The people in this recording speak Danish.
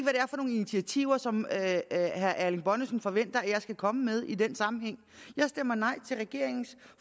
initiativer som herre erling bonnesen forventer at jeg skal komme med i den sammenhæng jeg stemmer nej til regeringens